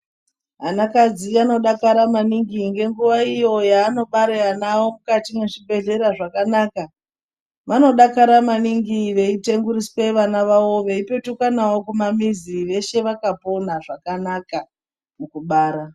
Anakadzi anodakara maningi ngenguwa iyo yaanobare ana awo mukati mwezvibhedhlera zvakanaka vanodakara maningi veitenguriswe vana vavo veipetuka navo kumamizi veshe vakapona zvakanaka mukubara.